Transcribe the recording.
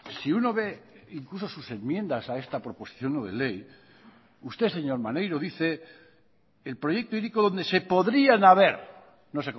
si uno ve incluso sus enmiendas a esta proposición no de ley usted señor maneiro dice el proyecto hiriko dónde se podrían haber no